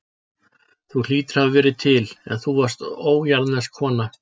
Þú hlýtur að hafa verið til, en þú varst ójarðnesk kona.